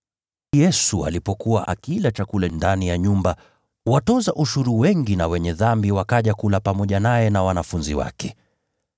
Yesu alipokuwa akila chakula ndani ya nyumba ya Mathayo, watoza ushuru wengi na “wenye dhambi” wakaja kula pamoja naye na wanafunzi wake.